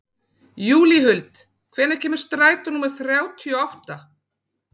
Júlíhuld, hvenær kemur strætó númer þrjátíu og átta?